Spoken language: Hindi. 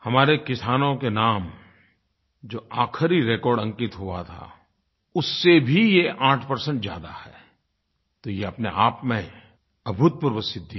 हमारे किसानों के नाम जो आख़िरी रेकॉर्ड अंकित हुआ था उससे भी ये 8 ज़्यादा है तो ये अपनेआप में अभूतपूर्व सिद्धि है